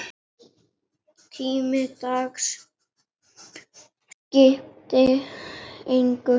Tími dags skipti engu.